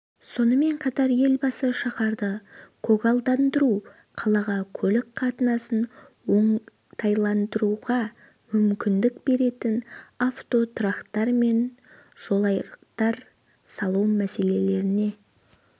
сонымен қатар елбасы шаһарды көгалдандыру қалада көлік қатынасын оңтайландыруға мүмкіндік беретін автотұрақтар мен жолайрықтар салу мәселелеріне